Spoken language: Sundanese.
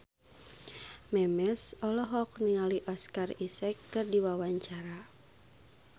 Memes olohok ningali Oscar Isaac keur diwawancara